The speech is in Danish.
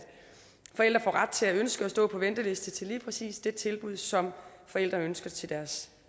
forældre får ret til at ønske at stå på venteliste til lige præcis det tilbud som forældre ønsker til deres